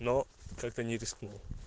но как-то не рискнула